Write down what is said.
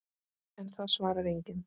En það svarar enginn.